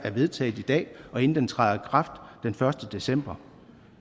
vedtaget i dag og inden den træder i kraft den første december